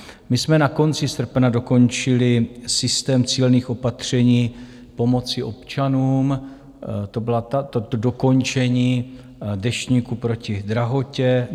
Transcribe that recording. My jsme na konci srpna dokončili systém cílených opatření pomoci občanům, to bylo to dokončení Deštníku proti drahotě.